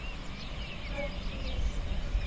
pope innocent